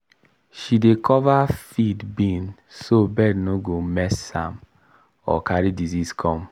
she dey cover feed bin so bird no go mess am or carry disease come.